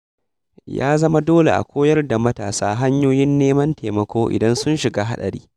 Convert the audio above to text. Ya zama dole a koyar da matasa hanyoyin neman taimako idan sun shiga haɗari.